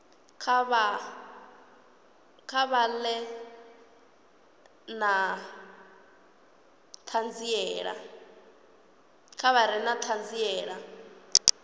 kha vha ḓe na ṱhanziela